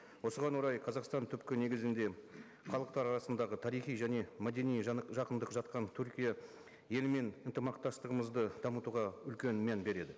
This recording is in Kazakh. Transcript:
осыған орай қазақстан түпкі негізінде халықтар арасындағы тарихи және мәдени жақындық жатқан түркия елімен ынтымақтастығымызды дамытуға үлкен мән береді